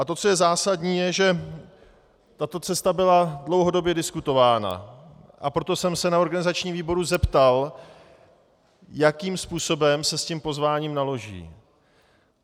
A to, co je zásadní, je, že tato cesta byla dlouhodobě diskutována, a proto jsem se na organizačním výboru zeptal, jakým způsobem se s tím pozváním naloží.